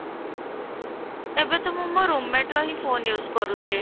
ଏବେ ତ ମୁଁ ମୋ room mate ର ହିଁ phone use କରୁଛି